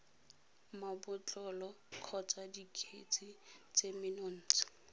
mabotlolo kgotsa dikgetse tse menontsha